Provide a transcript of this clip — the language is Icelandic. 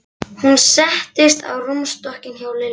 Hún settist á rúmstokkinn hjá Lillu.